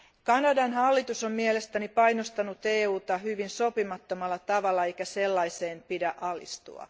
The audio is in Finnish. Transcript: Kanadan hallitus on mielestäni painostanut EUta hyvin sopimattomalla tavalla eikä sellaiseen pidä alistua.